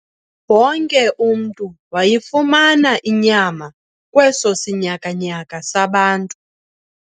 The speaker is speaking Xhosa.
Wonke umntu wayifumana inyama kweso sinyakanyaka sabantu.